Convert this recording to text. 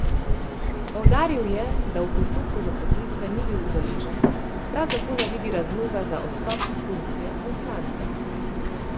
Poudaril je, da v postopku zaposlitve ni bil udeležen, prav tako ne vidi razloga za odstop s funkcije poslanca.